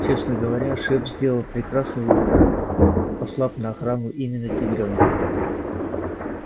честно говоря шеф сделал прекрасный выбор послав на охрану именно тигрёнка